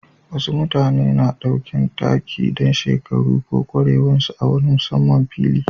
Wasu mutane na ɗaukan take dan shekaru ko kwarewan su a wani musamman fili.